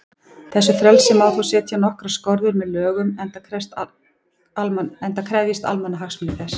Þessu frelsi má þó setja skorður með lögum, enda krefjist almannahagsmunir þess.